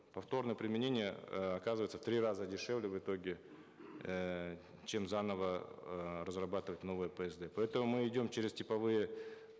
повторное применение э оказывается в три раза дешевле в итоге э чем заново э разрабатывать новые псд поэтому мы идем через типовые